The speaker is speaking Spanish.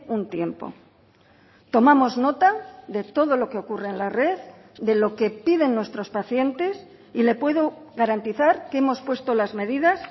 un tiempo tomamos nota de todo lo que ocurre en la red de lo que piden nuestros pacientes y le puedo garantizar que hemos puesto las medidas